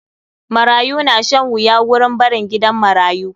Marayu na shan wuya wurin barin gidan marayu.